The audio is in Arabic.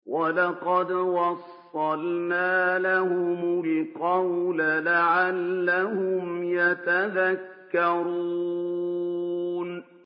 ۞ وَلَقَدْ وَصَّلْنَا لَهُمُ الْقَوْلَ لَعَلَّهُمْ يَتَذَكَّرُونَ